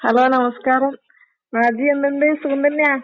Hello നമസ്കാരം. നാജിയാ എന്തൊണ്ട് സുഖം തന്നെയാ?